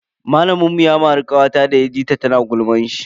Malamin mu ya mari kawata da ya ji tana gulman shi.